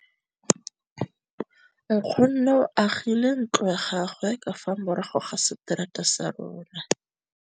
Nkgonne o agile ntlo ya gagwe ka fa morago ga seterata sa rona.